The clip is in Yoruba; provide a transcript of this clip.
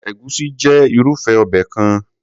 Egusi jẹ́ irúfé obẹ̀ kan.